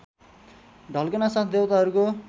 ढल्कनासाथ देवताहरूको